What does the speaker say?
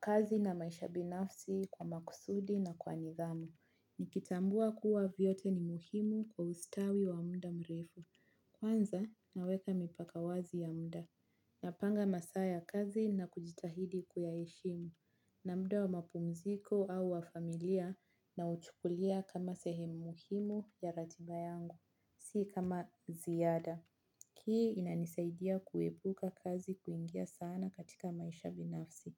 kazi na maisha ya binafsi kwa makusudi na kwa nidhamu. Nikitambua kuwa vyote ni muhimu kwa ustawi wa muda mrefu. Kwanza naweka mipaka wazi ya muda. Napanga masaa ya kazi na kujitahidi kuyaheshimu. Na muda wa mapumziko au wa familia nauchukulia kama sehemu muhimu ya ratiba yangu. Si kama ziada. Hii inanisaidia kuepuka kazi kuingia sana katika maisha ya binafsi.